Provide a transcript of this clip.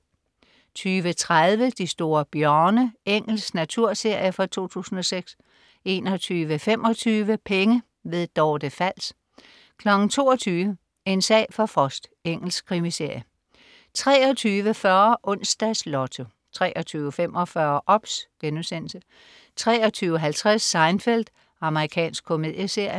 20.30 De store bjørne. Engelsk naturserie fra 2006 21.25 Penge. Dorte Fals 22.00 En sag for Frost. Engelsk krimiserie 23.40 Onsdags Lotto 23.45 OBS* 23.50 Seinfeld. Amerikansk komedieserie